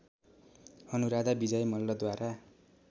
Anuradha Vijay मल्लद्वारा